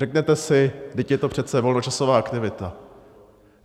Řeknete si, vždyť je to přece volnočasová aktivita.